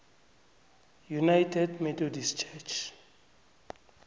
united methodist church